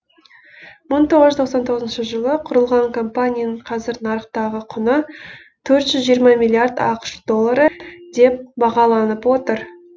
мың тоғыз жүз тоқсан тоғызыншы жылы құрылған компанияның қазір нарықтағы құны төрт жүз жиырма миллиард ақш доллары деп бағаланып отыр